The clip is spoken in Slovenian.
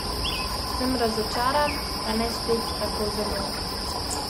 Sem razočaran, pa ne spet tako zelo.